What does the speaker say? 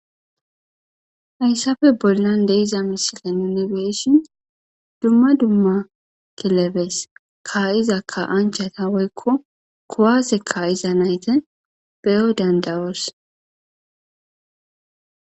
Hayssafe bollan de'iza misilen nu be'ishin dumma dumma kilebes ka7iza ka'anchata woykko kowaase ka'iza nayta beyo danddawoos.